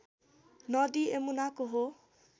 नदी यमुनाको हो